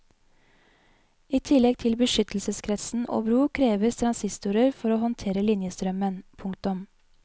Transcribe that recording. I tillegg til beskyttelseskretsen og bro kreves to transistorer for å håndtere linjestrømmen. punktum